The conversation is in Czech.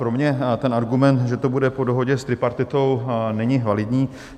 Pro mě ten argument, že to bude po dohodě s tripartitou, není validní.